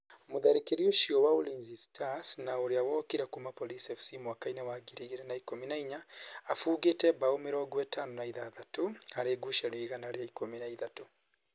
Mũtharikiri ucio wa Ulinzi Stars na ũrĩa wokire kuma Police FC mwaka-inĩ wa ngiri igĩrĩ na ikũmi na inya, abungĩte mbao mĩrongo ĩtano na ithathatũ harĩ ngucanio igana rĩa ikũmi na ithatũ.